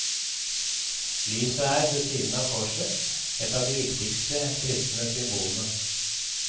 Lyset er, ved siden av korset, et av de viktigste kristne symbolene.